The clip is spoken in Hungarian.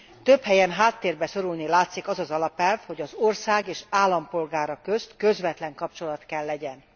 Több helyen háttérbe szorulni látszik az az alapelv, hogy az ország és állampolgára közt közvetlen kapcsolat kell legyen.